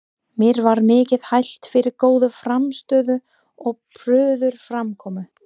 Mér var mikið hælt fyrir góða frammistöðu og prúða framkomu.